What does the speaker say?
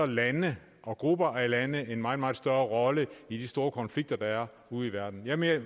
lande og grupper af lande en meget meget større rolle i de store konflikter der er ude i verden jeg mener